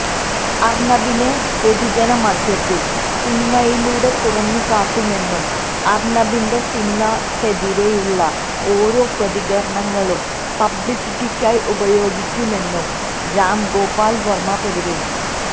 അർണബിനെ പൊതുജന മധ്യത്തിൽ സിനിമയിലൂടെ തുറന്നുകാട്ടുമെന്നും അർണബിന്റെ സിനിമക്കെതിരെയുള്ള ഓരോ പ്രതികരണങ്ങളും പബ്ലിസിറ്റിക്കായി ഉപയോഗിക്കുമെന്നും രാംഗോപാൽ വർമ പ്രതികരിച്ചു